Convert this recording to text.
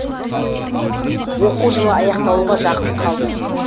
оқу жылы аяқталуға жақын қалды